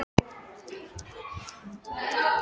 Hafþór: Og það er opið af þinni hálfu?